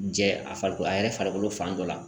Jɛ a farikolo a yɛrɛ farikolo fan dɔ la